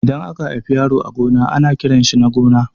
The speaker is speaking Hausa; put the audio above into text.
Idan aka haifi yaro a gona ana kiranshi Nagona